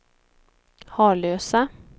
Harlösa